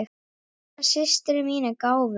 Þura systir mín er gáfuð.